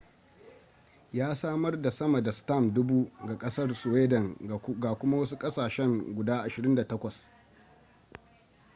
ya samar da sama da stamp 1000 ga kasar sweden ga kuma wasu kasashen guda 28